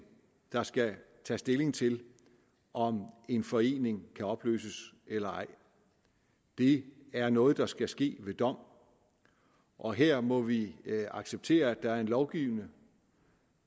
der skal tage stilling til om en forening kan opløses eller ej det er noget der skal ske ved dom og her må vi acceptere at der er en lovgivende